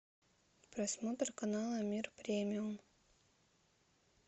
просмотр канала мир премиум